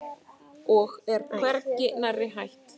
Og er hvergi nærri hætt.